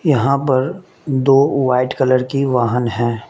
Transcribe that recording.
यहां पर दो वाइट कलर की वाहन हैं।